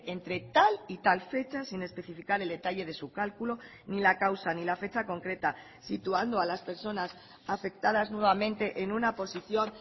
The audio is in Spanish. entre tal y tal fecha sin especificar el detalle de su cálculo ni la causa ni la fecha concreta situando a las personas afectadas nuevamente en una posición